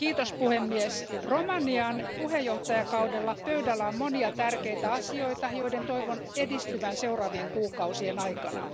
Arvoisa puhemies, Romanian puheenjohtajakaudella pöydällä on monia tärkeitä asioita, joiden toivon edistyvän seuraavien kuukausien aikana.